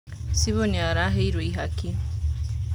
Cibũ nĩaraheirwo ihaki.